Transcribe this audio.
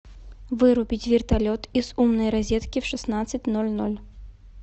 вырубить вертолет из умной розетки в шестнадцать ноль ноль